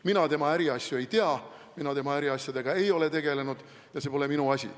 Mina tema äriasju ei tea, mina tema äriasjadega ei ole tegelenud, see pole minu asi.